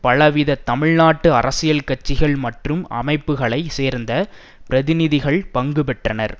பலவித தமிழ் நாட்டு அரசியல் கட்சிகள் மற்றும் அமைப்புக்களை சேர்ந்த பிரதிநிதிகள் பங்குபெற்றனர்